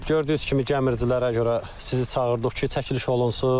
Gördüyünüz kimi gəmiricilərə görə sizi çağırdıq ki, çəkiliş olunsun.